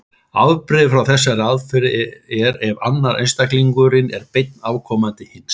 Afbrigði frá þessari aðferð er ef annar einstaklingurinn er beinn afkomandi hins.